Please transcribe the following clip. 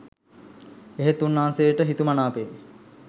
එහෙත් උන්වහන්සේට හිතුමනාපේ